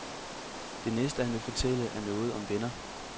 Det næste han vil fortælle, er noget om venner.